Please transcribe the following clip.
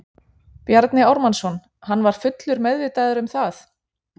Bjarni Ármannsson: Hann var fullur meðvitaður um það?